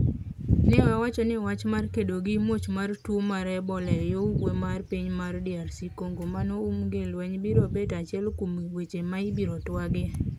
ne owacho ni wach mar kedo gi muoch mar tuo mar Ebola e yo ugwe mar piny mar DRC Congo mano um gi lweny biro bet achiel kuom weche ma ibiro twagie.